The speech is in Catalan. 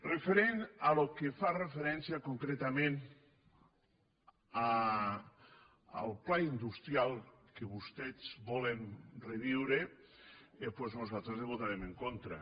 referent al que fa referència concretament al pla in·dustrial que vostès volen reviure doncs nosaltres hi votarem en contra